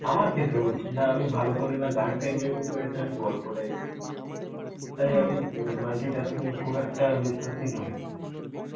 আমার ক্ষেত্রে বলছি না আমি ভালো করে না গানটা enjoy করতে পারি না গল্পটা enjoy করতে পারি তাই আমি multi tasking এ খুব একটা বিশ্বাসী নই.